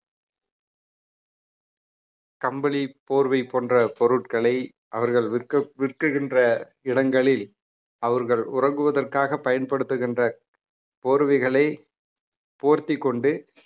கம்பளி போர்வை போன்ற பொருட்களை அவர்கள் விற்க~ விற்கின்ற இடங்களில் அவர்கள் உறங்குவதற்காக பயன்படுத்துகின்ற போர்வைகளை போர்த்திக்கொண்டு